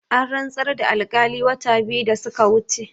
An rantsar da alkali wata biyu da suka wuce